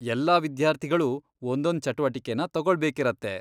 ಎಲ್ಲಾ ವಿದ್ಯಾರ್ಥಿಗಳೂ ಒಂದೊಂದ್ ಚಟುವಟಿಕೆನ ತಗೊಳ್ಬೇಕಿರತ್ತೆ.